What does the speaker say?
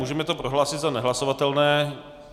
Můžeme to prohlásit za nehlasovatelné.